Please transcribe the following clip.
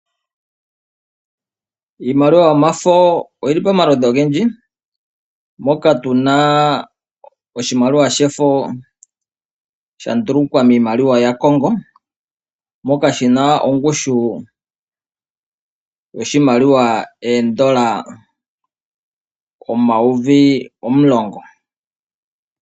Iimaliwa yomafo oyili pamaludhi ogendji moka tuna oshimaliwa shefo shandulukwa miimaliwa yaCongo, moka shina ongushu yoshimaliwa oondola omayovi omulongo.